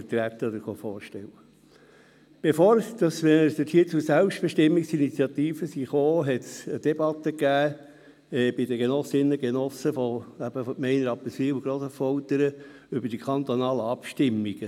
Bevor wir dort zur Selbstbestimmungsinitiative gekommen sind, gab es bei den Genossinnen und Genossen der Gemeinden Rapperswil und Grossaffoltern eine Debatte über die kantonalen Abstimmungen.